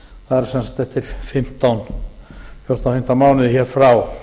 það er sem sagt eftir fjórtán fimmtán mánuði hér frá